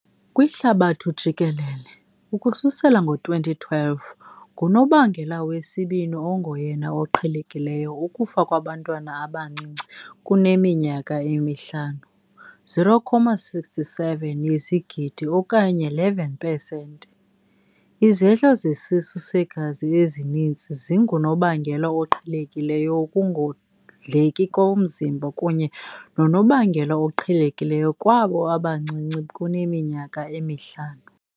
Kwihlabathi jikelele, ukususela ngo-2012, ngunobangela wesibini ongoyena oqhelekileyo ukufa kubantwana abancinci kuneminyaka emihlanu, 0.76 yezigidi okanye 11 pesenti. Izehlo zesisu segazi ezininzi zingunobangela oqhelekileyo wokungondleki komzimba kunye nonobangela oqhelekileyo kwabo abancinci kuneminyaka emihlanu.